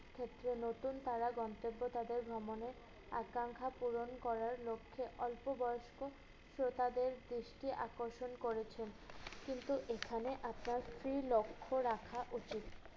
ক্ষেত্রে নতুন তারা গন্তব্য তাদের ভ্রমণে আকাঙ্ক্ষা পূরণ করার লক্ষ্যে অল্প বয়স্ক শ্রোতাদের দৃষ্টি আকর্ষণ করেছেন কিন্তু এখানে আপনার দৃঢ় লক্ষ্য রাখা উচিৎ।